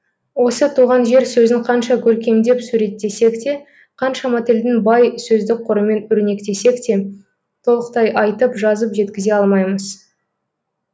осы туған жер сөзін қанша көркемдеп суреттесек те қаншама тілдің бай сөздік қорымен өрнектесек те толықтай айтып жазып жеткізе алмаймыз